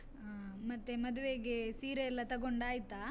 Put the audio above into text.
ಹ್ಮ್ ಮತ್ತೆ ಮದುವೆಗೆ ಸೀರೆಯೆಲ್ಲ ತಗೊಂಡಾಯ್ತಾ?